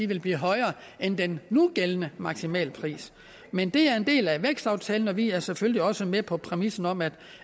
vil blive højere end den nugældende maksimalpris men det er en del af vækstaftalen og vi er selvfølgelig også med på præmissen om at